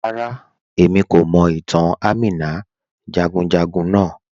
Ràrà, ẹ̀mí kò mọ̀ ìtàn Àmínà jàgùnjàgùn naa